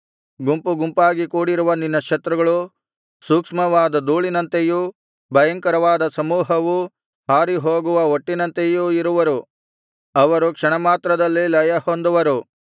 ಗುಂಪು ಗುಂಪಾಗಿ ಕೂಡಿರುವ ನಿನ್ನ ಶತ್ರುಗಳು ಸೂಕ್ಷ್ಮವಾದ ಧೂಳಿನಂತೆಯೂ ಭಯಂಕರವಾದ ಸಮೂಹವು ಹಾರಿಹೋಗುವ ಹೊಟ್ಟಿನಂತೆಯೂ ಇರುವರು ಅವರು ಕ್ಷಣ ಮಾತ್ರದಲ್ಲಿ ಲಯಹೊಂದುವರು